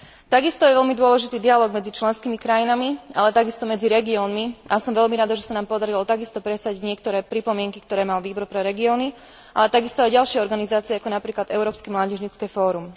Takisto je veľmi dôležitý dialóg medzi členskými krajinami, ale tiež medzi regiónmi, a som veľmi rada, že sa nám podarilo takisto presadiť niektoré pripomienky, ktoré mal Výbor regiónov, ale aj ďalšie organizácie, ako napríklad Európske mládežnícke fórum.